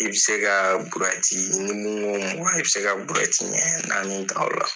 I bɛ se ka i bi se ka ɲɛ naani ta o la.